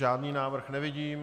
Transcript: Žádný návrh nevidím.